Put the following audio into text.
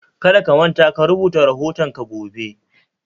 Kada ka manta ka rubuta rahoton ka gobe